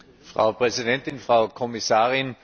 Frau Präsidentin, Frau Kommissarin!